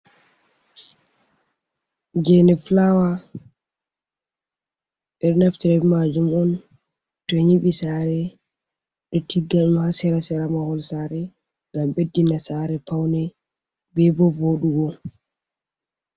Geene fulawa, ɓe ɗo naftira be maajum on to nyiɓi saare ɓe tigga ɗum ha sera sera mahol saare, ngam ɓeddina saare paune be bo vooɗugo.